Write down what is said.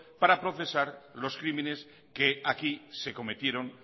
para procesar los crímenes que aquí se cometieron